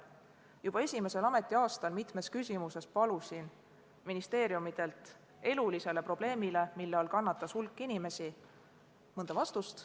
Juba esimesel ametiaastal palusin mitmes küsimuses ministeeriumidelt vastust elulisele probleemile, mille all kannatas hulk inimesi, vastust.